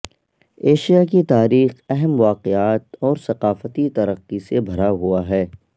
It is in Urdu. ایشیا کی تاریخ اہم واقعات اور ثقافتی ترقی سے بھرا ہوا ہے